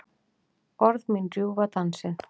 Orð mín rjúfa dansinn.